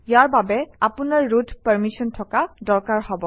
ইয়াৰ বাবে আপোনাৰ root permission থকা দৰকাৰ হব